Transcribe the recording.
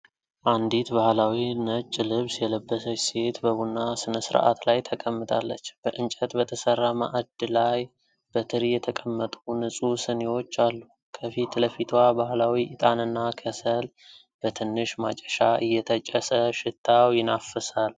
አንዲት ባህላዊ ነጭ ልብስ የለበሰች ሴት በቡና ሥነ ሥርዓት ላይ ተቀምጣለች። በእንጨት በተሰራ ማዕድ ላይ በትሪ የተቀመጡ ንጹህ ስኒዎች አሉ። ከፊት ለፊቷ ባህላዊ ዕጣንና ከሰል በትንሽ ማጨሻ እየተጨሰ ሽታው ይናፍሳል።